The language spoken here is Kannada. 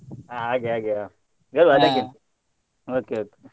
ಹ ಹಾಗೆ ಹಾಗೆಯ okay okay .